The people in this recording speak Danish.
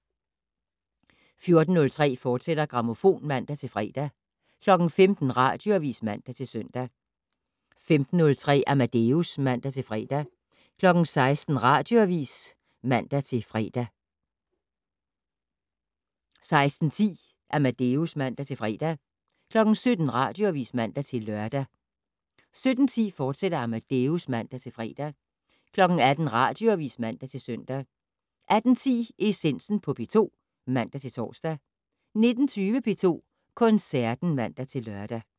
14:03: Grammofon, fortsat (man-fre) 15:00: Radioavis (man-søn) 15:03: Amadeus (man-fre) 16:00: Radioavis (man-lør) 16:10: Amadeus (man-fre) 17:00: Radioavis (man-lør) 17:10: Amadeus, fortsat (man-fre) 18:00: Radioavis (man-søn) 18:10: Essensen på P2 (man-tor) 19:20: P2 Koncerten (man-lør)